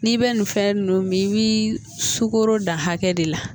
N'i bɛ nin fɛn ninnu min i b'i sugoro dan hakɛ de la